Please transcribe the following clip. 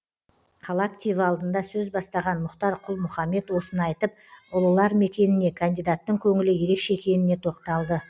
қала активі алдында сөз бастаған мұхтар құл мұхаммед осыны айтып ұлылар мекеніне кандидаттың көңілі ерекше екеніне тоқталды